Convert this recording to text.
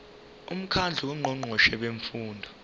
umkhandlu wongqongqoshe bemfundo